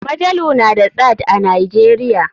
Majalu na da tsad a nijeria.